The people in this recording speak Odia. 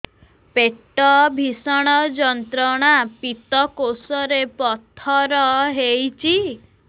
ପେଟ ଭୀଷଣ ଯନ୍ତ୍ରଣା ପିତକୋଷ ରେ ପଥର ହେଇଚି